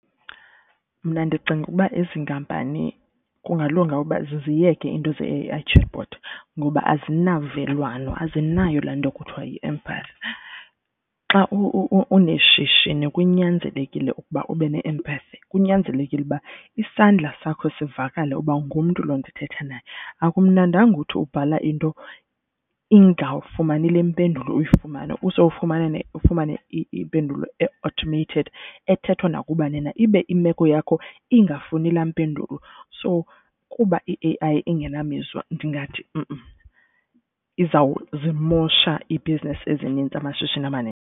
Mna ndicinga ukuba ezi nkampani kungalunga ukuba ziziyeke iinto ze-I chatbot ngoba azinavelwano azinayo laa nto kuthiwa yi-empathy. Xa uneshishini kunyanzelekile ukuba ube ne-empathy. Kunyanzelekile uba isandla sakho sivakale uba ungumntu loo ndithetha naye. Akumnandanga uthi ubhala into ingafumani le mpendulo uyifumana usowufumane ifumane impendulo e-automated. Ethethwa nakubani na ibe imeko yakho ingafuni laa mpendulo. So kuba i-A_I ingena mizwa ndingathi izawuzimosha i-business ezinintsi amashishini amaninzi.